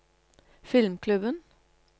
filmklubben